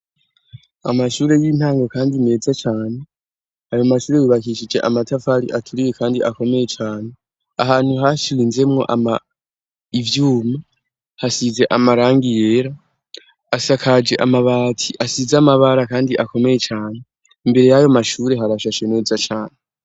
Amashure y'intango, kandi meza cane ayo mashure yubakishije amatafari aturiye, kandi akomeye cane ahantu hashiwe inzemwo ama ivyuma hasize amarangi yera asakaje amabati asize amabara, kandi akomeye cane imbere yayo mashure harashashe meza cane.